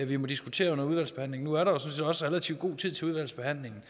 vi må diskutere under udvalgsbehandlingen nu er der set også relativt god tid til udvalgsbehandlingen